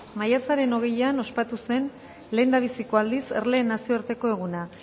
maiatzen hogeian ospatu zen lehendabiziko aldiz erleen nazioarteko eguna